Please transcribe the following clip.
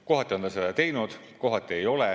Kohati on ta seda teinud, kohati ei ole.